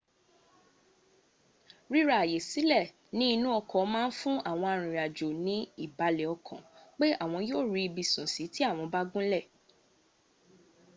ríra àyè sílẹ̀ ní inú ọkọ̀ máa ń fún àwọn arìnrìnàjò ní ìbàlẹ̀ ọkàn pé àwọn yóò rí ibi sùn sí tí àwọn bá gúnlẹ̀